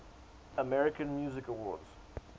american music awards